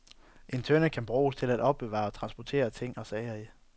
En tønde kan bruges til at opbevare og transportere ting og sager i.